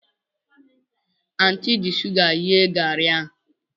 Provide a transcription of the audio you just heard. Anti ji sugar ghee gari ahụ.